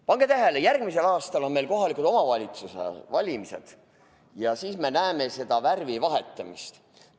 Pange tähele: järgmisel aastal on meil kohaliku omavalitsuse valimised ja siis me näeme seda värvi vahetamist!